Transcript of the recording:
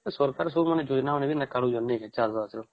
ସରକାର ସବୁ ଯୋଜନା ଆଣି